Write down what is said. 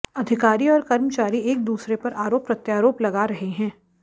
अधिकारी और कर्मचारी एक दूसरे पर आरोप प्रत्यारोप लगा रहे हैं